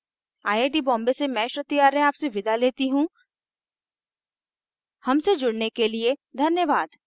I I T Bombay से मैं श्रुति आर्य आपसे विदा लेती हूँ हमसे जुड़ने के लिए धन्यवाद